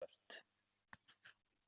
Eignir banka aukast